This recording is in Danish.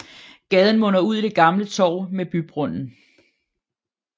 Gaden munder ud i det gamle torv med bybrønden